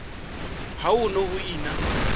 ha ho ne ho ena